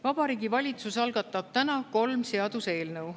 Vabariigi Valitsus algatab täna kolm seaduseelnõu.